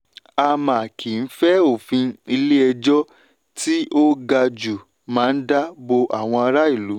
à má kí fẹ́ òfin ilé ejò tí ó ga jù má dá bò àwọn ará ìlú.